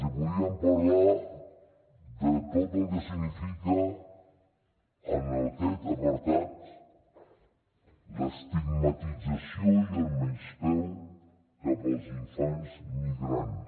els podríem parlar de tot el que significa en aquest apartat l’estigmatització i el menyspreu cap als infants migrants